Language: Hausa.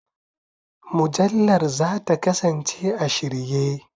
Mujallar za ta kasance a shirye.